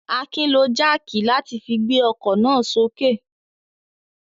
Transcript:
Akin lo jáákì láti fi gbé ọkọ̀ náà sókè.